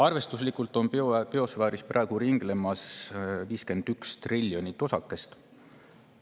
Arvestuslikult on biosfääris praegu ringlemas 51 triljonit osakest.